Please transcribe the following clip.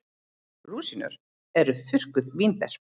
Rúsínur eru þurrkuð vínber.